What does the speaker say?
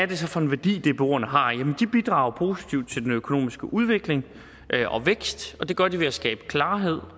det så for en værdi dboerne har jamen de bidrager positivt til den økonomiske udvikling og vækst og det gør de ved at skabe klarhed